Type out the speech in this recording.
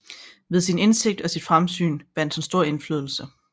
Ved sin indsigt og sit fremsyn vandt han stor indflydelse